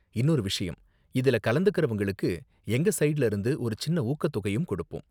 இன்னொரு விஷயம், இதுல கலந்துகிறவங்களுக்கு எங்க ஸைடுல இருந்து ஒரு சின்ன ஊக்கத்தொகையும் கொடுப்போம்.